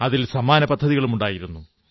അതിൽ സമ്മാനപദ്ധതികളുമുണ്ടായിരുന്നു